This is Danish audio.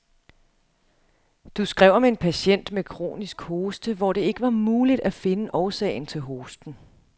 Du skrev om en patient med kronisk hoste, hvor det ikke var muligt at finde årsagen til hosten.